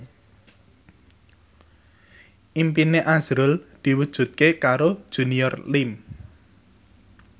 impine azrul diwujudke karo Junior Liem